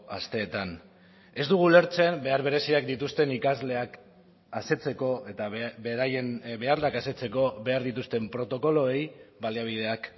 asteetan ez dugu ulertzen behar bereziak dituzten ikasleak asetzeko eta beraien beharrak asetzeko behar dituzten protokoloei baliabideak